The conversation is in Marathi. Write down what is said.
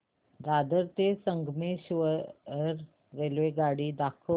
दादर ते संगमेश्वर रेल्वेगाडी दाखव